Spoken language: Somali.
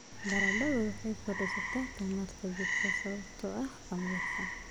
Baradhadu waxay korodhsataa tamarta jidhka sababtoo ah khamiirka.